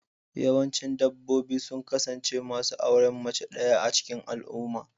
Yawancin dabbobi sun kasance masu auren mace ɗaya a cikin al'umma.